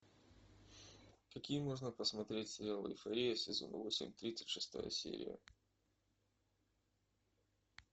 какие можно посмотреть сериалы эйфория сезон восемь тридцать шестая серия